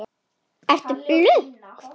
Ert þú blönk?